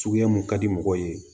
Suguya mun ka di mɔgɔw ye